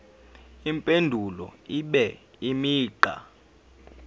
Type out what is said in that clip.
impendulo ibe imigqa